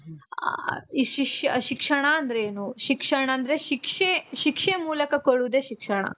ಆ ಶಿಕ್ಷಣ ಅಂದ್ರೆ ಏನು ಶಿಕ್ಷಣ ಅಂದ್ರೆ ಶಿಕ್ಷೆ, ಶಿಕ್ಷೆ ಮೂಲಕ ಕೊಡುವುದೆ ಶಿಕ್ಷಣ.